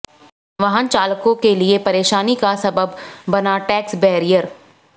वाहन चालकों के लिए परेशानी का सबब बना टैक्स बैरियर